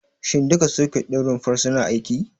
Shin duka soket ɗin rumfar suna aiki?